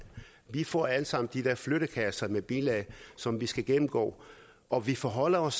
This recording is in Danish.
vi får alle sammen de der flyttekasser med bilag som vi skal gennemgå og vi forholder os